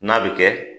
N'a bɛ kɛ